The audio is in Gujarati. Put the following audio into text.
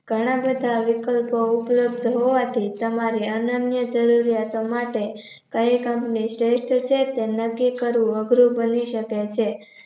ઘણા બધા વિકલ્પો ઉપલબ્ધ હોવાથી તમારી અનન્ય જરૂરિયાતો માટે કઈ company શ્રેષ્ઠ છે તેમ નક્કી કરવું અઘરું બની શકે છે.